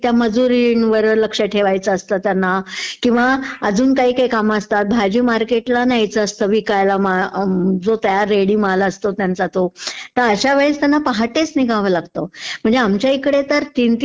त्या मजूरीणींवर लक्ष ठेवायचं असतं त्यांना किंवा अजून काय काय काम असतात. भाजी मार्केटला विकायला माल जो तयार रेडी माल असतो त्यांचा तो. तर अश्या वेळेस त्यांना पहाटेचं निघावं लागतं, म्हणजे आमच्या इकडे तर तीन